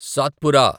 Satpura